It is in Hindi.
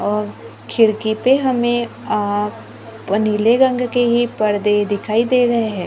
और खिड़की पे हमें आप प नीले रंग के ही परदे दिखाई दे रहे हैं।